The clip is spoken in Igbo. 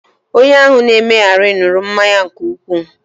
Onye ahụ na-emegheri ṅụrụ mmanya nke ukwu